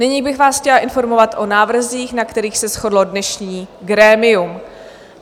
Nyní bych vás chtěla informovat o návrzích, na kterých se shodlo dnešní grémium.